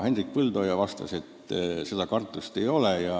Hendrik Põldoja vastas, et seda kartust ei ole.